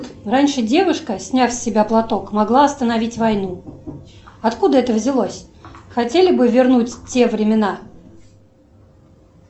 раньше девушка сняв с себя платок могла остановить войну откуда это взялось хотели бы вернуть те времена